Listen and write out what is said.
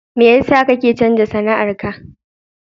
Me yasa kake canza sana'ar ka?